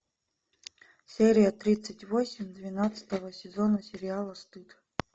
серия тридцать восемь двенадцатого сезона сериала стыд